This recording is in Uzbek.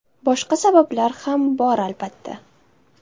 Boshqa sabablar ham bor, albatta.